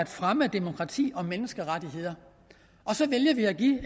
fremme af demokrati og menneskerettigheder så vælger vi at give